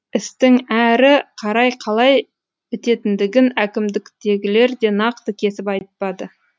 істің әрі қарай қалай бітетіндігін әкімдіктегілер де нақты кесіп айтпады